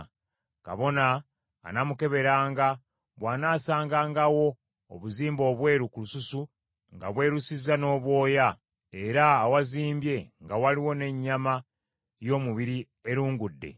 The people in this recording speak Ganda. Kabona anaamukeberanga, bw’anaasangangawo obuzimbu obweru ku lususu nga bwerusizza n’obwoya, era awazimbye nga waliwo n’ennyama y’omubiri erungudde,